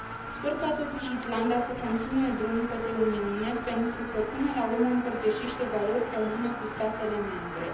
Sper ca, totuși, Islanda să continue drumul către Uniune pentru că, până la urmă, împărtășește valori comune cu statele membre.